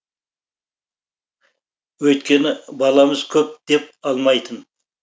өйткені баламыз көп деп алмайтын